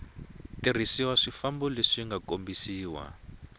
tirhiseriwa swifambo leswi nga kombisiwa